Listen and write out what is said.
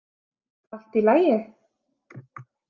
Allt í lagi?